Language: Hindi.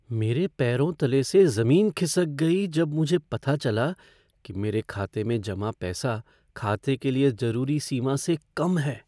मेरे पैरों तले से जमीन खिसक गई जब मुझे पता चला कि मेरे खाते में जमा पैसा खाते के लिए जरूरी सीमा से कम है।